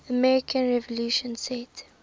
american revolution set